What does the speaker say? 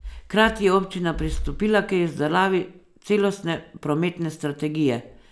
Hkrati je občina pristopila k izdelavi celostne prometne strategije.